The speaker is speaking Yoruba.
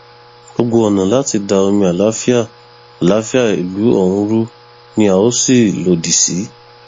gbogbo ọnà láti da omi àlàáfíà àlàáfíà ìlú ọhún rú ni a ó sì lòdì sí